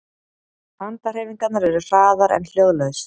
Handahreyfingarnar eru hraðar en hljóðlaus